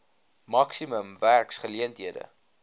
maksimum werks geleenthede